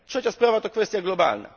Trzecia sprawa to kwestia globalna.